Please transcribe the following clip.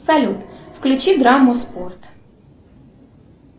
салют включи драму спорт